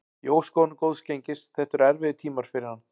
Ég óska honum góðs gengis, þetta eru erfiðir tímar fyrir hann.